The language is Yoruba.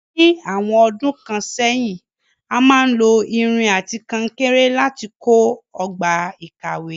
Ní àwon odún kan sẹ́hìn, a máa n lo irin àti kankéré láti kó ogbà ìkàwé